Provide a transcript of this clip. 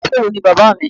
Onísòwò ni Bàbá mi.